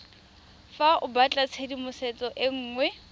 fa o batlatshedimosetso e nngwe